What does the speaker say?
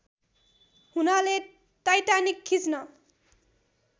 हुनाले टाइटानिक खिच्न